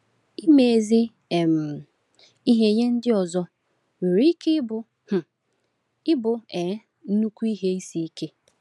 Ime ezi um ihe nye ndị ọzọ nwere ike um ịbụ um nnukwu ihe isi ike.